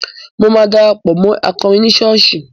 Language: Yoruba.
Mo máa darapọ̀ mọ́ akọrin ní ṣọ́ọ̀ṣì.